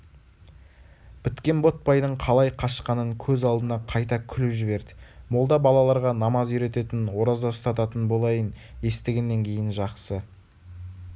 біткен ботбайдың қалай қашқанын көз алдына қайта күліп жіберді молда балаларға намаз үйрететін ораза ұстататын болайын естігеннен кейін жақсы